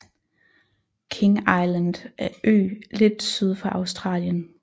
King Island er ø lidt syd for Australien